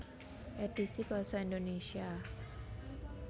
Édhisi basa Indonesia